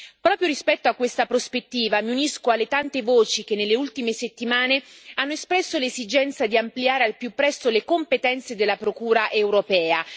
Proprio rispetto a questa prospettiva, mi unisco alle tante voci che nelle ultime settimane hanno espresso l'esigenza di ampliare al più presto le competenze della Procura europea.